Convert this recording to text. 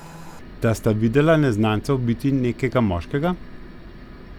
Da sta videla neznanca ubiti nekega moškega?